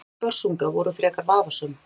Bæði mörk Börsunga voru frekar vafasöm.